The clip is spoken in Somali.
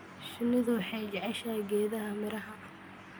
Shinnidu waxay jeceshahay geedaha miraha.